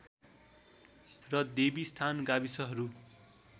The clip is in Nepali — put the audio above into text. र देवीस्थान गाविसहरू